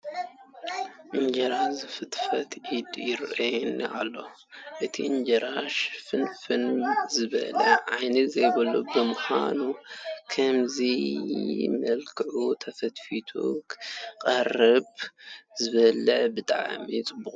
እንጀራ ዝፍትፍት ኢድ ይርአየና ኣሎ፡፡ እቲ እንጀራ ሽንፍንፍ ዝበለ ዓይኒ ዘይብሉ ብምዃኑ ብኸምዚ መልክዑ ተፈትሒቱ ምቕራቡ ንዝበልዕ ብጣዕሚ ፅቡቕ እዩ፡፡